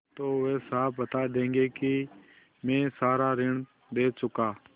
तो वे साफ बता देंगे कि मैं सारा ऋण दे चुका